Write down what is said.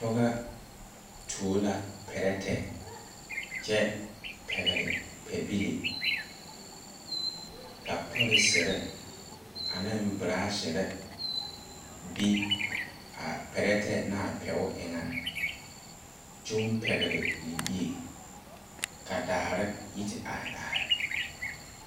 Pɔga tuo la pɛrɛte kye pegli pɛbile ka polisiri ane brashiri be a pɛretɛ naa pɛg enga nyuu pɛgli libie ka daare yi ti arẽ arẽ.